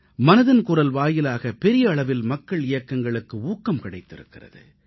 மனதின் குரல் வாயிலாக பெரிய அளவில் மக்கள் இயக்கங்களுக்கு ஊக்கம் கிடைத்திருக்கிறது